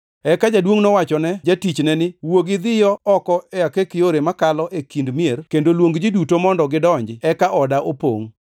“Eka jaduongʼ nowachone jatichne ni, ‘Wuogi idhiyo oko e akek yore makalo e kind mier kendo luong ji duto mondo gidonji, eka oda opongʼ.